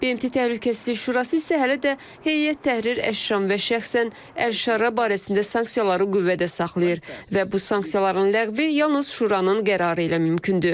BMT Təhlükəsizlik Şurası isə hələ də Heyət Təhrir Əşşam və şəxsən Əl-Şarra barəsində sanksiyaları qüvvədə saxlayır və bu sanksiyaların ləğvi yalnız şuranın qərarı ilə mümkündür.